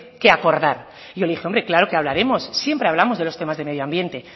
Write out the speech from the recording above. que acordar y yo le dije hombre claro que hablaremos siempre hablamos del tema del medio ambiente